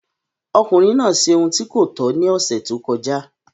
Ọkùnrin náà ṣe ohun tí kò tọ́ ní ọ̀sẹ̀ tó kọjá.